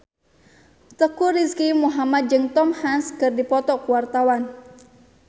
Teuku Rizky Muhammad jeung Tom Hanks keur dipoto ku wartawan